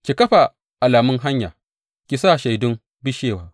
Ki kafa alamun hanya; ki sa shaidun bishewa.